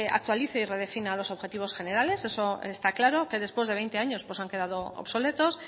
actualice y redefina los objetivos generales eso está claro que después de veinte años han quedado obsoletos